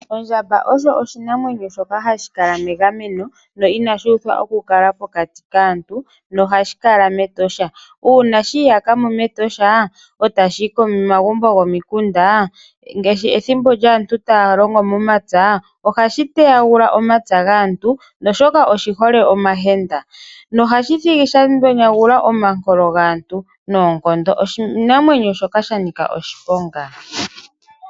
Ondjamba osho oshinamwenyo shoka hashi kala megameno no inashi uthwa okukala mokati kaantu nohashi kala mEtosha. Uuna shi iyaka mo mEtosha e tashi yi komagumbo gokomikunda ngaashi pethimbo lyaantu taya longo momapya ohashi teyagula omapya gaantu oshoka oshihole omahenda. Ohashi thigi sha yonagula omankolo gaantu noonkondo. Oshinamwenyo shoka sha nika oshiponga.